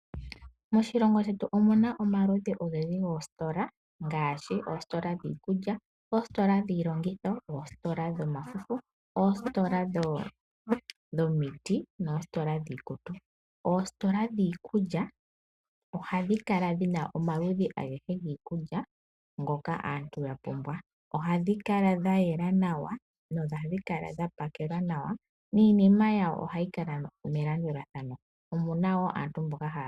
Moshilongo shetu omuna omaludhi ogendji goositola ngaashi oositola dhiikulya, oositola dhiilongitho, oositola dhomafufu, oositola dhomiti noositola dhiikutu. Oositola dhiikulya ohadhi kala dhina omaludhi agehe giikulya ngoka aantu ya pumbwa. Ohadhi kala dha yela nawa, dho ohadhi kala dha pakelwa nawa niinima yawo ohayi kala melandulathano.